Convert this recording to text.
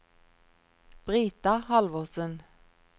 Brita Halvorsen